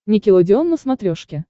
никелодеон на смотрешке